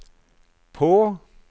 på